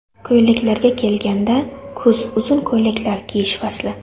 Ko‘ylaklarga kelganda, kuz uzun ko‘ylaklar kiyish fasli.